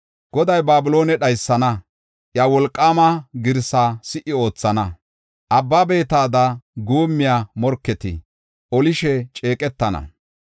Goday Babiloone dhaysana; iya wolqaama girsa si77i oothana. Abba beetada guummiya morketi olishe ceeqetana.